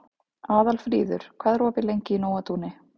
Aðalfríður, hvað er opið lengi í Nóatúni?